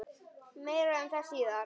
Meira um það síðar.